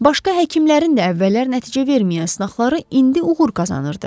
Başqa həkimlərin də əvvəllər nəticə verməyən sınaqları indi uğur qazanırdı.